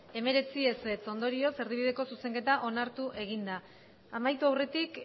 hemeretzi ondorioz erdibideko zuzenketa onartu egin da amaitu aurretik